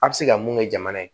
A bɛ se ka mun kɛ jamana ye